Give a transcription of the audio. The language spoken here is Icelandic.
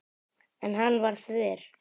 En hann var þver.